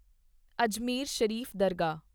ਅਜਮੇਰ ਸ਼ਰੀਫ ਦਰਗਾਹ